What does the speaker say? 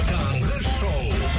таңғы шоу